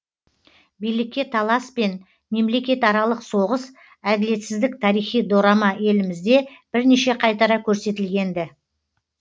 билікке талас пен мемлекетаралық соғыс әділетсіздік тарихи дорама елімізде бірнеше қайтара көрсетілген ді